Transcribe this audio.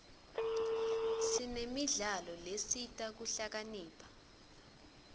sinemidlalo lesita kuhlakanipha